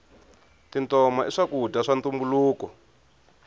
tintoma i swakudya swa ntumbuluko